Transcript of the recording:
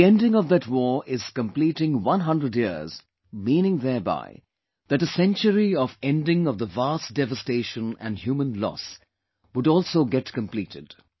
Ending of that war is completing one hundred years meaning thereby that a century of ending of the vast devastation and human loss would also get completed